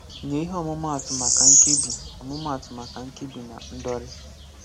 Nye ihe ọmụmaatụ maka Nkebi ọmụmaatụ maka Nkebi na Ndọri.